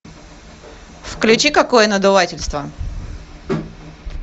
включи какое надувательство